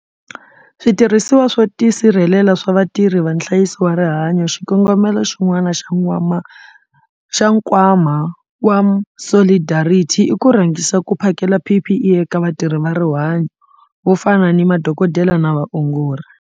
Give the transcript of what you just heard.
Switirhisiwa swo tisirhelela swa vatirhi va nhlayiso wa rihanyo Xikongomelo xin'wana xa Nkwama wa Solidarity i ku rhangisa ku phakela PPE eka vatirhi va rihanyo vo fana ni madokodela na vaongori.